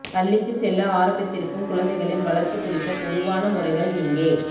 பள்ளிக்குச் செல்ல ஆரம்பித்திருக்கும் குழந்தைகளின் வளர்ப்பு குறித்த பொதுவான முறைகள் இங்கே